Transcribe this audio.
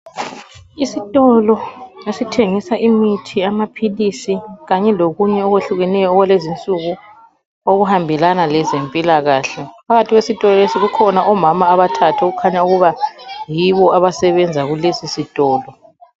Isitolo esithengisa imithi, amaphilisi kanye lokunye okwehlukeneyo okwalezinsuku okuhambelana lezempilakahle, phakathi kwesitolo lesi kukhona omama abathathu okukhanya yibo abasebenza kulesi sitolo.